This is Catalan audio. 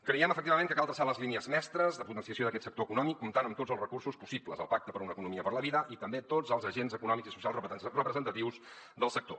creiem efectivament que cal traçar les línies mestres de potenciació d’aquest sector econòmic comptant amb tots els recursos possibles el pacte per una economia per la vida i també tots els agents econòmics i socials representatius del sector